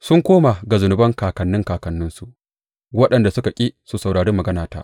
Sun koma ga zunuban kakanni kakanninsu, waɗanda suka ƙi su saurari maganata.